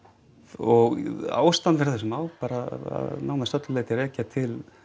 og ástæðuna fyrir þessu má bara að nær öllu leyti rekja til